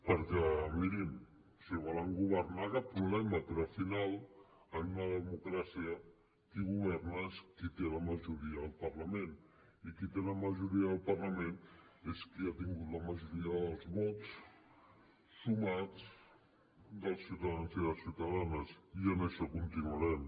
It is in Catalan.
perquè mirin si volen governar cap problema però al final en una democràcia qui governa és qui té la majoria al parlament i qui té la majoria al parlament és qui ha tingut la majoria dels vots sumats dels ciutadans i les ciutadanes i en això continuarem